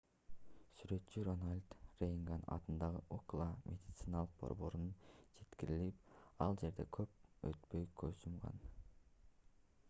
сүрөтчү рональд рейган атындагы ucla медициналык борборуна жеткирилип ал жерде көп өтпөй көз жумган